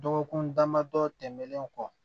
Dɔgɔkun damadɔ tɛmɛnlen kɔ